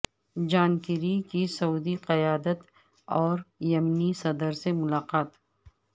جان Kerry کی سعودی قیادت اور یمنی صدر سے ملاقات